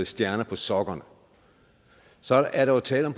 stjerner på sokkerne for så er der jo tale om